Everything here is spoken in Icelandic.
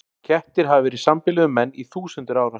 Kettir hafa verið í sambýli við menn í þúsundir ára.